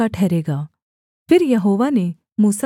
फिर यहोवा ने मूसा से कहा